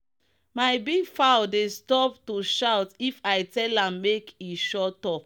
my big fowl dey stop to shout if i tell am make e shut up.